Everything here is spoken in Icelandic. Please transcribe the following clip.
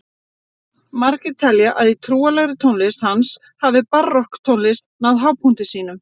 margir telja að í trúarlegri tónlist hans hafi barokktónlist náð hápunkti sínum